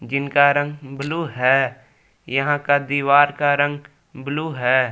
इनका रंग ब्लू है यहां का दीवार का रंग ब्लू है।